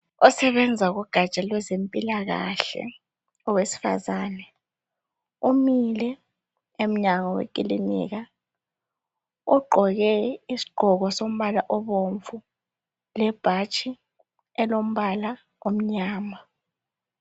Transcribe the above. Osebenza kugaja lwezempilakahle owesifazana umile emnyango wekilika ugqoke isigqoko sombala obomvu lebhatshi elombala omnyama